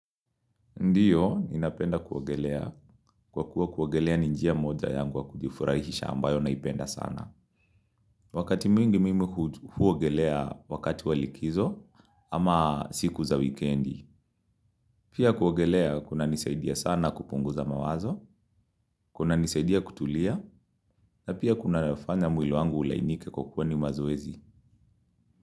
Ndiyo, ninapenda kuwogelea. Kwa kuwa kuwogelea ninjia moja yangu wa kujifurahisha ambayo naipenda sana. Wakati mingi mimi huwogelea wakati walikizo ama siku za wikendi. Pia kuwogelea kuna nisaidia sana kupunguza mawazo, kuna nisaidia kutulia, na pia kuna nafanya mwili wangu ulainike kwa kuwa ni mazoezi.